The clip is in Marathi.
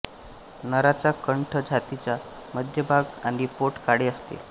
नराचा कंठ छातीचा मध्य भाग आणि पोट काळे असते